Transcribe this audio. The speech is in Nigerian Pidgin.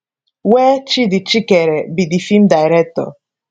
wey tchidi chikere be di feem director